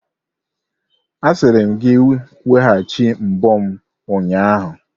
Asịrim gị weghachi mbo m ụnyahụ!